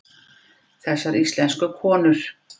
Þessar íslensku konur!